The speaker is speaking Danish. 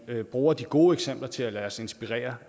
og vi bruger de gode eksempler til at lade os inspirere